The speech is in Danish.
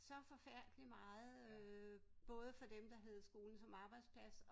Så forfærdelig meget øh både for dem der havde skolen som arbejdsplads